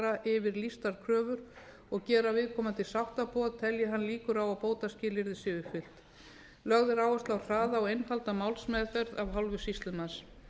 fara yfir lýstar kröfur og gera viðkomandi sáttaboð telji hann líkur á að bótaskilyrði séu uppfyllt lögð er áherslu á hraða og einfalda málsmeðferð af hálfu sýslumanns